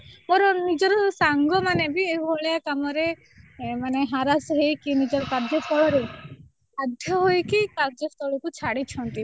ମୋର ନିଜର ସାଙ୍ଗ ମାନେ ବି ଏଇଭଳିଆ କାମ ରେ ମାନେ harass ହେଇକି ନିଜର କାର୍ଯ୍ୟସ୍ଥଳ ରେ ବାଧ୍ୟ ହୋଇକି କାର୍ଯ୍ୟସ୍ଥଳ କୁ ଛାଡ଼ୁଛନ୍ତି